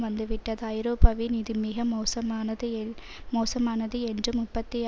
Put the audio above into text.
வந்துவிட்டது ஐரோப்பாவில் இது மிக மோசமானது மோசமானது என்றும் முப்பத்தி